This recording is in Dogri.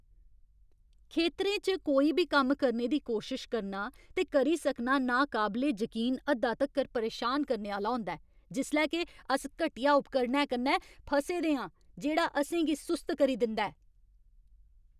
खेतरें च कोई बी कम्म करने दी कोशश करना ते करी सकना नाकाबले जकीन हद्दा तक्कर परेशान करने आह्‌ला होंदा ऐ जिसलै के अस घटिया उपकरणै कन्नै फसे दे आं जेह्ड़ा असें गी सुस्त करी दिंदा ऐ।